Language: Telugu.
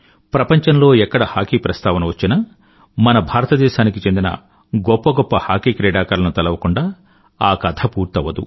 ప్రపంచంలో ఎక్కడ హాకీ ప్రస్తావన వచ్చినా మన భారతదేశానికి చెందిన గొప్ప గొప్ప హాకీ క్రీడాకారులను తలవకుండా ఆ కథ పూర్తవ్వదు